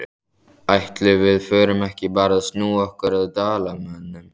Ætli við förum ekki bara að snúa okkur að Dalamönnum?